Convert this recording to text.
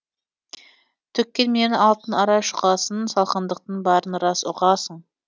төккенменен алтын арай шұғасын салқындықтың барын рас ұғасың